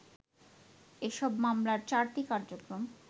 এসব মামলার চারটির কার্যক্রম